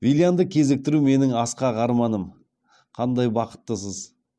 виллианды кезіктіру менің асқақ арманым қандай бақыттысыз